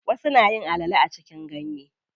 Wasu nayin alale a cikin ganye.